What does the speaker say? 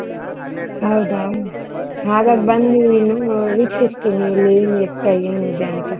ಹೌದಾ ಬಂದು ವೀಕ್ಷಿಸ್ತೀನಿ ಇಲ್ಲಿ ಏನ್ ಎತ್ತ ಏನ್ ಇದೆ ಅಂತ.